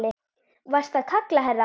Varstu að kalla, herra?